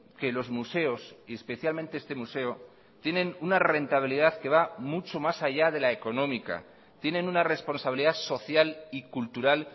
que los museos y especialmente este museo tienen una rentabilidad que va mucho más allá de la económica tienen una responsabilidad social y cultural